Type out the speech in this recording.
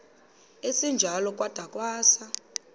esinjalo kwada kwasa